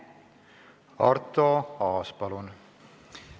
Arto Aas, palun!